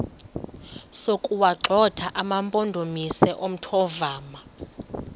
sokuwagxotha amampondomise omthonvama